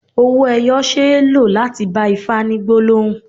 Owó ẹyọ ṣe é lò láti bá Ifá ní gbólóhùn.